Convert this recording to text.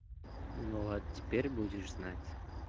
ну вот теперь будешь знать